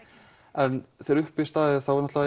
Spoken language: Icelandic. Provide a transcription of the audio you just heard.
en þegar uppi er staðið er